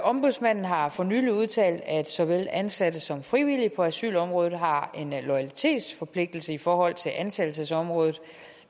ombudsmanden har for nylig udtalt at såvel ansatte som frivillige på asylområdet har en loyalitetsforpligtelse i forhold til ansættelsesområdet